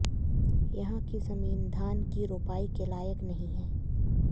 यहां की जमीन धान की रोपाई के लायक नहीं है